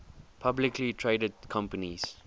publicly traded companies